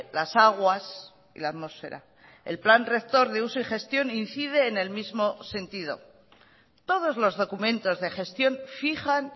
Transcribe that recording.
las aguas la atmósfera el plan rector de uso y gestión incide en el mismo sentido todos los documentos de gestión fijan